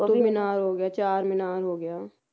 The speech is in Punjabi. ਮੀਨਾਰ ਹੋਗਿਆ ਚਾਰ ਮੀਨਾਰ ਹੋ ਗਿਆ